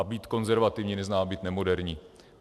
A být konzervativní neznamená být nemoderní.